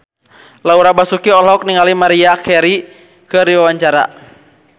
Laura Basuki olohok ningali Maria Carey keur diwawancara